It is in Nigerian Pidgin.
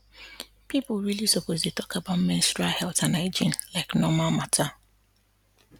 people really suppose dey talk about menstrual health and hygiene like normal matter